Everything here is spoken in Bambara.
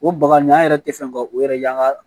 O baga nin an yɛrɛ tɛ fɛ ka o yɛrɛ y'an ka